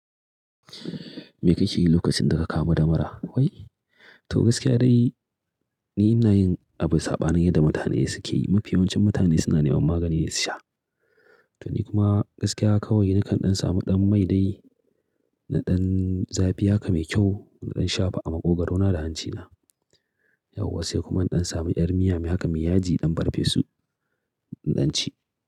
Me kake yi lokacin da ka kamu da mura? Wai? To gaskiya dai ni ina yin abu saɓanin yanda mutane suke yi. Mafi yawancin mutane suna neman maganine su sha. To ni kuma gaskiya kawai nakan ɗan samu ɗan mai dai maiɗan zafi haka mai kyau na sha fa a maƙogaro na da hanci na. Yauwa sai kuma in ɗan samu ƴar miyarmu haka mai yaji in farfesu in ɗan ci.